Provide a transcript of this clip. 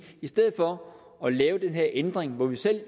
i stedet for at lave den her ændring hvor vi selv